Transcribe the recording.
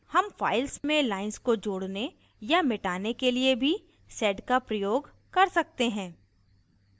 हम file में lines को जोड़ने या मिटाने के लिए भी sed का प्रयोग कर सकते हैं